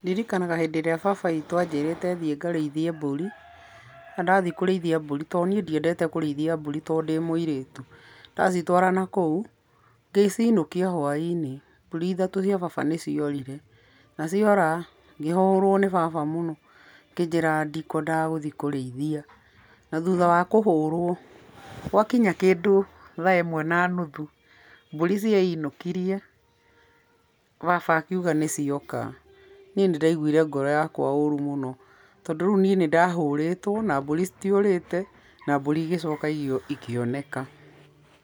Nĩndirikanaga rĩrĩa baba witũ anjĩrĩte thiĩ ngarĩithie mbũri, na ndathiĩ kũrĩithia mbũri tondũ niĩ ndiendete kũrĩithia mbũri tondũ ndĩ mũirĩtu ndacitwara nakũu, ngĩcinũkia hwainĩ, mbũri ithatũ cia baba nĩ ciorire na ciora ngĩhũrwo nĩ baba mũno akĩnjĩraga ndikwendaga gũthiĩ kũrĩithia, thũtha wa kũhũrwo gwakinya kĩndũ thaa ĩmwe na nũthũ mbũri cieinũkirie baba akiuga nĩcioka, niĩ nĩ ndaigwire ngoro yakwa ũrũ mũno, tondũ rĩũ niĩ nĩndahũrĩtwo na mbũri citiorĩte na mbũri igĩcoka ikĩoneka.